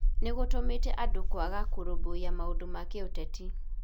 Nĩ gũtũmĩtĩ andũ kwaga kũrũmbũiya maũndũ ma kĩũteti.